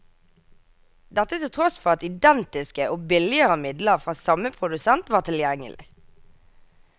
Dette til tross for at identiske og billigere midler fra samme produsent var tilgjengelig.